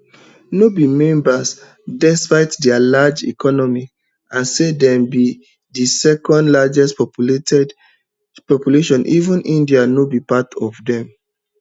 no be member despite dia large economy and say dem be di secondlargest population even india no be part of dem